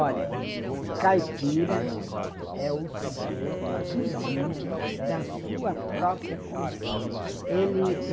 Olha, caipira é o sujeito que vive da sua própria condição. Ele